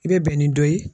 I bɛ bɛn ni dɔ ye